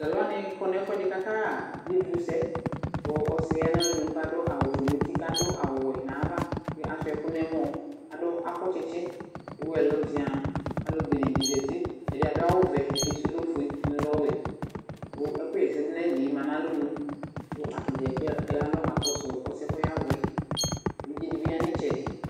Talʋwanɩ kɔ n'ɛfʋɛdɩ k'aka ɣa (bublusɛ) :kʋ ɔsɩɛ ya n'alɔnue k'adʋ awʋfue n'uti k'adʋ awʋwɛ n'ava k'asʋɩa ɛkʋ n'ɛmɔ, adʋ akɔ tsitsi k'ewu ɛlʋ zɩaŋ Alʋ benedɩ zati : ɛdɩ adʋ awʋvɛ ɛdɩ sʋ lɛ ofue ɛdɩnɩ lɛ ɔwɛ Kʋ ɛkʋɣɛsɛdʋ n'ayilie ma n'alɔnu kʋ atadza kplo ya n'alɔ ka kɔsʋ ɔsɩɛ k'ɔyavʋɛ , evidzedɩ bɩ ya n'ɩtsɛdɩ